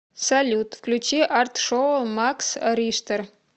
салют включи арт шоу макс риштер